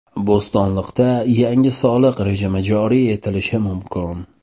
Bo‘stonliqda yangi soliq rejimi joriy etilishi mumkin.